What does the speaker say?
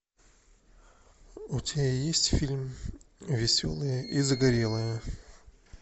у тебя есть фильм веселые и загорелые